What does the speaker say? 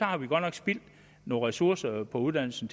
har vi godt nok spildt nogle ressourcer på uddannelse